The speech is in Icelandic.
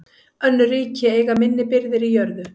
Önnur ríki eiga minni birgðir í jörðu.